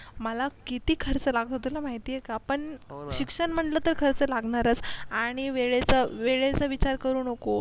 मला किती खर्च लागतो तुला माहिती आहे का पण शिक्षण म्हटलं की खर्च लागणारच आणि वेळेचा वेळेचा विचार करू नकोस